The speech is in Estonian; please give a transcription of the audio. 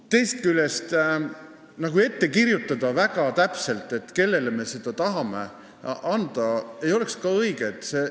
Teisest küljest ei oleks ka õige väga täpselt ette kirjutada, kellele me seda raha tahame anda.